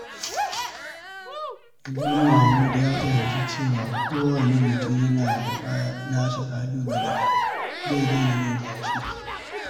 Idan Mahmud ya fahimci cewa kowane mutum yana da nasa ƙalubalen, zai daina jin ƙyashi.